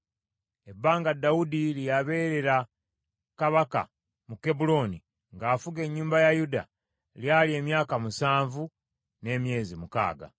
Ebbanga Dawudi lye yabeerera kabaka mu Kebbulooni ng’afuga ennyumba ya Yuda lyali emyaka musanvu n’emyezi mukaaga.